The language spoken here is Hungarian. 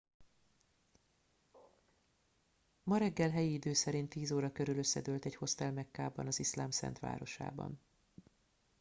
ma reggel helyi idő szerint 10 óra körül összedőlt egy hostel mekkában az iszlám szent városában